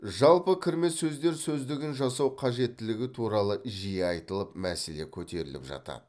жалпы кірме сөздер сөздігін жасау қажеттілігі туралы жиі айтылып мәселе көтеріліп жатады